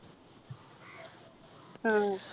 ആഹ്